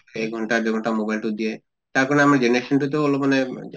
এক ঘন্টা দুই ঘন্টা mobile তো দিয়ে তাৰ কাৰণে আমাৰ generation তো তʼ লপ মানে অ